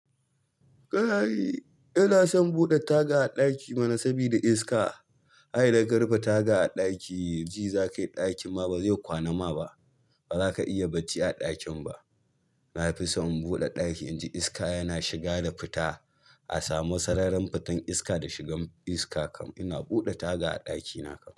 Kayi, ina son buɗe taga a ɗaki mana sabida iska. Ai daga rufe taga a ɗaki, ji za ka yi ɗakin ma ba zai kwana ma ba. Ba za ka iya bacci a ɗakin ba. Na fi so in buɗe ɗaki inji iska yana shiga da fita. A samu sararin fitan iska da shigan iska kam. Ina buɗe taga a ɗakina kam.